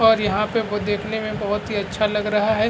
और यहाँ पे वो देखने में बोहोत ही अच्छा लग रहा है।